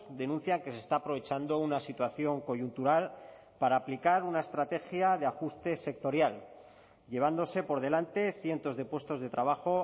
denuncian que se está aprovechando una situación coyuntural para aplicar una estrategia de ajuste sectorial llevándose por delante cientos de puestos de trabajo